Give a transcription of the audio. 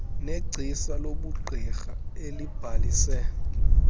negcisa lobugqirha elibhalise